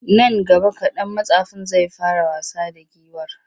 Nan gaba kaɗan mattsafin zai fara wasa da giwar.